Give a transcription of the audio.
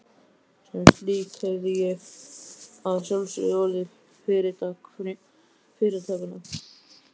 Sem slík hefði ég að sjálfsögðu orðið fyrirtak fyrirtakanna.